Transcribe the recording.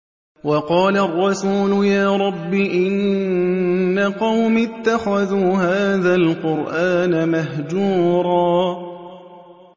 وَقَالَ الرَّسُولُ يَا رَبِّ إِنَّ قَوْمِي اتَّخَذُوا هَٰذَا الْقُرْآنَ مَهْجُورًا